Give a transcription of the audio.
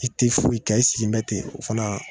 I ti foyi kɛ, i sigi bɛ ten o fana